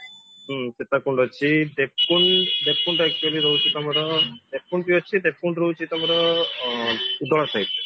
ହୁଁ ସୀତାକୁଣ୍ଡ ଅଛି ଦେବକୁଣ୍ଡ ଦେବକୁଣ୍ଡ actually ରହୁଛି ତମର ଦେବକୁଣ୍ଡ ବି ଅଛି ଦେବକୁଣ୍ଡ ରହୁଛି ତମର ଆଁ ଉଦଳା side